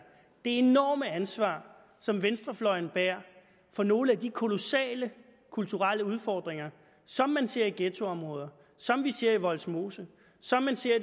det enorme ansvar som venstrefløjen bærer for nogle af de kolossale kulturelle udfordringer som man ser i ghettoområder som man ser i vollsmose som man ser